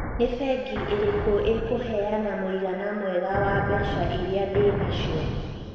nĩ bengi ĩrĩkũ ikũheana mũigana mwega wa mbeca ĩrĩa ndĩ nacio